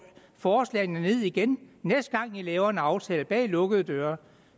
forslagene ned igen næste gang man laver en aftale bag lukkede døre